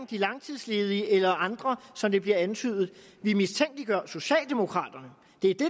de langtidsledige eller andre som det bliver antydet vi mistænkeliggør socialdemokraterne det er det